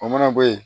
O mana bɔ yen